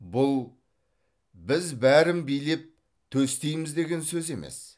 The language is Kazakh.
бұл біз бәрін билеп төстейміз деген сөз емес